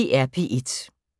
DR P1